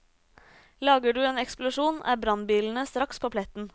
Lager du en eksplosjon, er brannbilene straks på pletten.